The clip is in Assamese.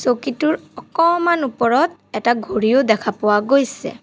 চকীটোৰ অকমান ওপৰত এটা ঘড়ীও দেখা পোৱা গৈছে।